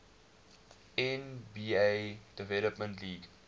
nba development league